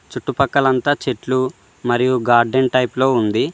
చుట్టుపక్కలంతా చెట్లు మరియు గార్డెన్ టైప్లో ఉంది.